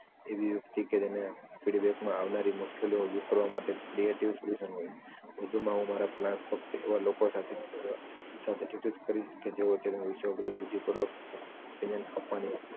એવી વ્યક્તિ કે જેને feedback માં આવવાની મુશ્કેલીઓ દૂર કરવા માટે criatives reason હોય વધુ માં હું મારા ક્લાસ ફક્ત એવા લોકો સાથે suggest કરીશ જેઓ તેમાં વિષય અંગેની બુધ્ધિ અંગેની વિનય આપવાની